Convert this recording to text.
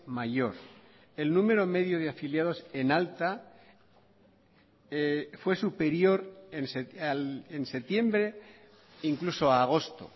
mayor el número medio de afiliados en alta fue superior en septiembre incluso a agosto